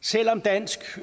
selv om dansk